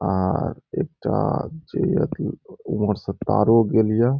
आर एकटा जे ये की उम्महर से तारो गेल ये।